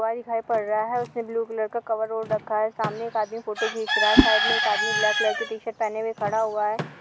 दिखाई पड़ रहा है उसने ब्लू कलर का कवर ओढ़ रखा है सामने एक आदमी फोटो खींच रहा है साइड में एक आदमी ब्लैक कलर की टी शर्ट पहने हुए खड़ा हुआ है।